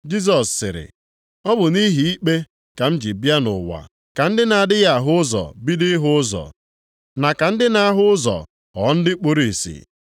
Jisọs sịrị, “Ọ bụ nʼihi ikpe ka m ji bịa nʼụwa, ka ndị na-adịghị ahụ ụzọ bido ịhụ ụzọ, na ka ndị na-ahụ ụzọ ghọọ ndị kpuru ìsì.”